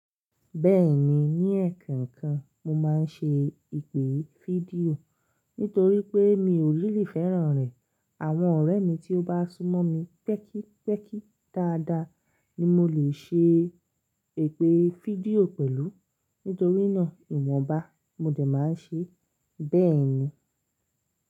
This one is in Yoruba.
Bẹ́ẹ̀ni, ní ẹ̀ẹ̀kan kan mo máa ń ṣe ipè fídíò nítorí pé mi ò really fẹ́ràn rẹ̀. Àwọn ọ̀rẹ́ mi tí ó bá súnmọ́ mi pẹ́kípẹ́kí dáadáa ni mo lè ṣe èpè fídíò pẹ̀lú. Nítorí náà, ìwọ̀nba mo dẹ̀ máa ń ṣe bẹ́ẹ̀ni.